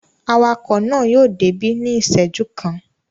Awakọ̀ náà yóò débí ní ìṣẹ́jú kan.